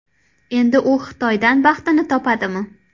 Endi u Xitoydan baxtini topadimi?